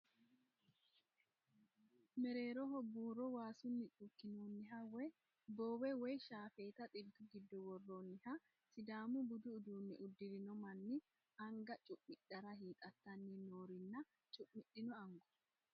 Mereeroho buuro waasunni cuukkinoonniha woy boowe woy shaafeeta xiltu giddo worroonniha sidaamu budu uduunne uddirino manni anga cu'midhara hiixattanni noorinna cu'midhino anguwa.